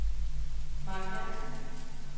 Marc Jansen